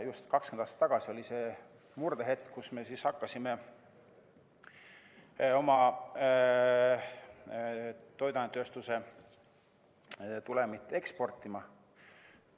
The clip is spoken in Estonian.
Just 20 aastat tagasi oli see murdehetk, kui me hakkasime oma toiduainetööstuse tulemit eksportima.